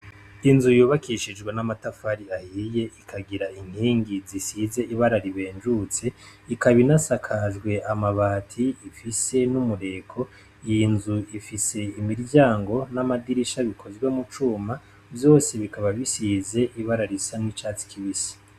Inzu yubakishijwe n' amatafari ahiye, ikagira inkingi zisize ibara ribenjutse, ikaba inasakajwe amabati ifise n' umureko ,iyi nzu ifise imiryango n' amadirisha bikozwe mu cuma vyose bikaba bisize ibara risa n' icatsi kibisi.